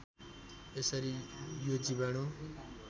यसरी यो जीवाणु